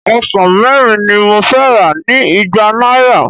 Ọsàn mẹ́rin ni mo fẹ́ rà ní igba náírà.